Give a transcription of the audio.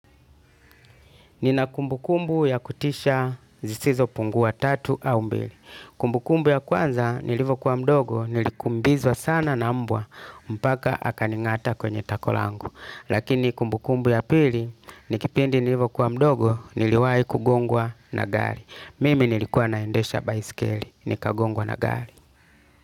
Nina kumbu kumbu ya kutisha zisizopungua tatu au mbili. Kumbu kumbu ya kwanza nilivyokua mdogo, nilikimbizwa sana na mbwa mpaka akaning'ata kwenye tako langu. Lakini kumbu kumbu ya pili ni kipindi nilivyokua mdogo niliwahi kugongwa na gari. Mimi nilikuwa na endesha baiskeli, nikagongwa na gari.